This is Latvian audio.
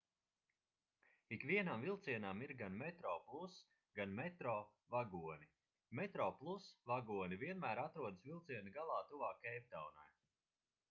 ikvienam vilcienam ir gan metroplus gan metro vagoni metroplus vagoni vienmēr atrodas vilciena galā tuvāk keiptaunai